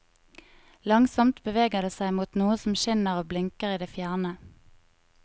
Langsomt beveger det seg mot noe som skinner og blinker i det fjerne.